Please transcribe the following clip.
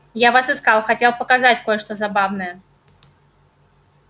я вас искал хотел показать кое-что забавное